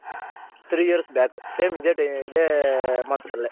Three years back same ಇದೆ ಇದೆ Month ಅಲ್ಲೆ.